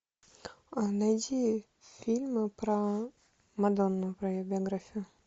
найди фильмы про мадонну про ее биографию